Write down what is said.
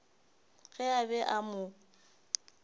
ge a be a mo